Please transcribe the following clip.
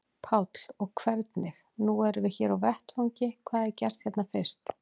Páll: Og hvernig, nú erum við hér á vettvangi, hvað er gert hérna fyrst?